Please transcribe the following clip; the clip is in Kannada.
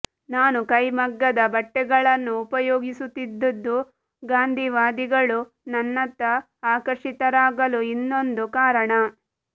ನಾನು ಕೈಮಗ್ಗದ ಬಟ್ಟೆಗಳನ್ನು ಉಪಯೋಗಿಸುತ್ತಿದ್ದುದೂ ಗಾಂಧೀವಾದಿಗಳು ನನ್ನತ್ತ ಆಕರ್ಷಿತರಾಗಲು ಇನ್ನೊಂದು ಕಾರಣ